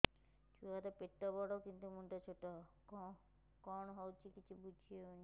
ଛୁଆର ପେଟବଡ଼ କିନ୍ତୁ ମୁଣ୍ଡ ଛୋଟ କଣ ହଉଚି କିଛି ଵୁଝିହୋଉନି